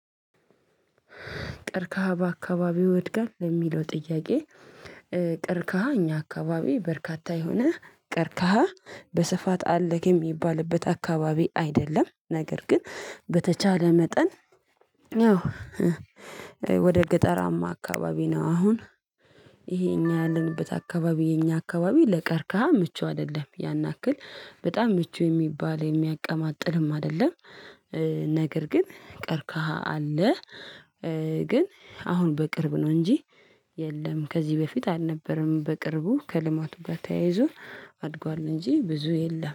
ቀርከሃ በአካባቢው ይወድጋል የሚለው ጥያቄ? ቀርከሃ እኛ አካባቢ በርካታ የሆነ ቀርካሃ በስፋት አለ የሚባልበት አካባቢ አይደለም ነገር ግን በተቻለ መጠን። ያው ወደ ገጠራማ አካባቢ ነው። አሁን ይሄ የኛ ያለንበት አካባቢ የኛ አካባቢ ለቀርካህ ምቹ አይደለም ያን ያክል በጣም ምቹ የሚባል የሚያቀማጥልም አይደለም። ነገር ግን ቀርከሃ አለ። ግን አሁን በቅርብ ነው እንጂ የለም። ከዚህ በፊት አልነበረም በቅርቡ ከልማቱ ጋር ተያይዞ አድጓል። እንጂ ብዙ የለም